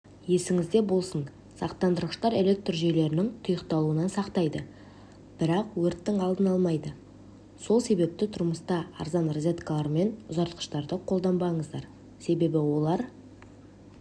естіңізде болсын сақтандырғыштар электр жүйелерінің тұйықталуынан сақтайды бірақ өрттің алдын алмайды сол себепті тұрмыста арзан розеткалар мен ұзартқыштарды қолданбаңыздар себебі олар